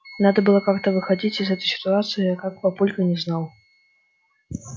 надо было как-то выходить из этой ситуации а как папулька не знал